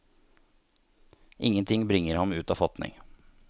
Ingenting bringer ham ut av fatning.